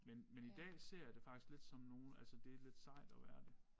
Men men i dag ser jeg det faktisk lidt som nogen altså det lidt sejt at være det